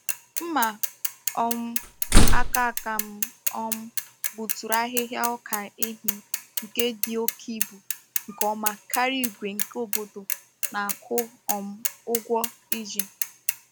Mma um aka aka m um gbuturu ahịhịa ọka ehi nke dị oke ibu nke ọma karịa igwe nke obodo na-akwụ um ụgwọ iji.